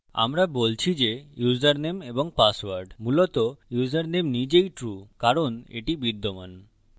আমরা বলছি যে ইউসারনেম এবং পাসওয়ার্ড মূলত ইউসারনেম নিজেই true কারণ এটি বিদ্যমান